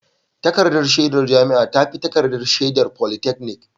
Takardar shaidar jami'a ta fi takardar shaidar polytechnic